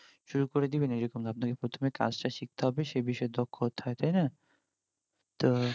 শুরু করে দিবেন ওইরকম না, আপনাকে প্রথমে কাজ তা শিখতে হবে, সে বিষয়ে দক্ষ হতে হয়, তাই না, তো